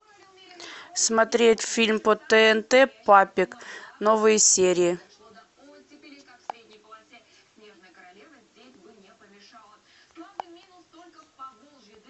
смотреть фильм по тнт папик новые серии